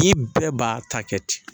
I bɛɛ b'a ta kɛ ten